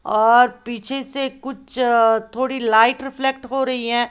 और पीछे से कुछ थोड़ी लाइट रिफ्लेक्टर हो रही है।